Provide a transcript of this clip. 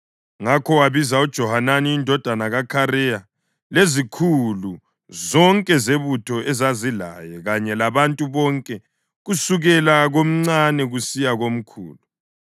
Ngakho wabiza uJohanani indodana kaKhareya lezikhulu zonke zebutho ezazilaye kanye labantu bonke kusukela komncane kusiya komkhulu.